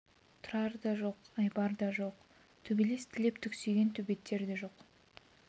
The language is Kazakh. тұрар да жоқ айбар да жоқ төбелес тілеп түксиген төбеттер де жоқ